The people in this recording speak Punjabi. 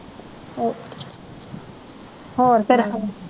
ਹੋਰ ਫਿਰ